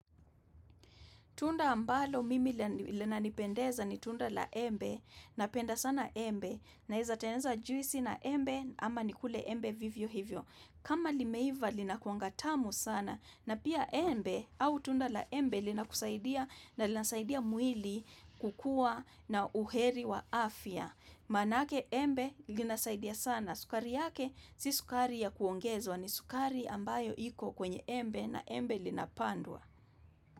Tunda ambalo mimi linanipendeza ni tunda la embe napenda sana embe naeza teneza juisi na embe ama nikule embe vivyo hivyo. Kama limeiva linakuanga tamu sana na pia embe au tunda la embe linakusaidia na linasaidia mwili kukua na uheri wa afya. Maanake embe linasaidia sana. Sukari yake si sukari ya kuongezwa ni sukari ambayo iko kwenye embe na embe linapandwa.